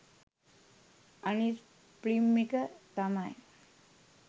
අනිත් ෆිල්ම් එක තමයි